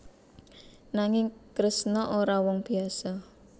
Nanging Kresna ora wong biyasa